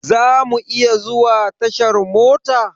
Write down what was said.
Za mu iya zuwa tashar mota?